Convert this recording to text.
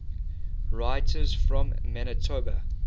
writers from manitoba